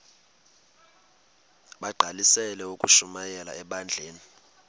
bagqalisele ukushumayela ebandleni